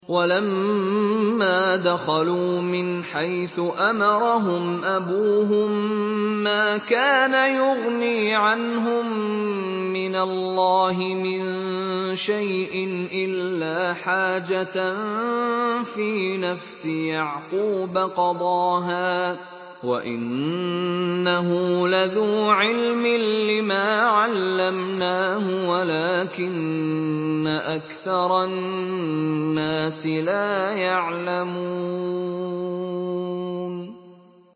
وَلَمَّا دَخَلُوا مِنْ حَيْثُ أَمَرَهُمْ أَبُوهُم مَّا كَانَ يُغْنِي عَنْهُم مِّنَ اللَّهِ مِن شَيْءٍ إِلَّا حَاجَةً فِي نَفْسِ يَعْقُوبَ قَضَاهَا ۚ وَإِنَّهُ لَذُو عِلْمٍ لِّمَا عَلَّمْنَاهُ وَلَٰكِنَّ أَكْثَرَ النَّاسِ لَا يَعْلَمُونَ